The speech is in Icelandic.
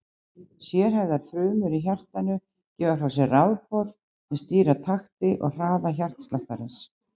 Sérhæfðar frumur í hjartanu gefa frá sér rafboð sem stýra takti og hraða hjartasláttarins.